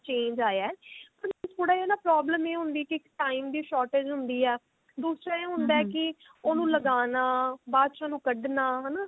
change ਆਇਆ ਪਰ ਮੈਨੂੰ ਨਾ ਥੋੜਾ ਜਿਹਾ problem ਇਹ ਹੁੰਦੀ ਸੀ ਕਿ time ਦੀ shortage ਹੁੰਦੀ ਹੈ ਦੂਸਰਾ ਇਹ ਹੁੰਦਾ ਕਿ ਉਹਨੂੰ ਲਗਾਨਾ ਬਾਅਦ ਚ ਉਹਨੂੰ ਕੱਢਨਾ ਹਨਾ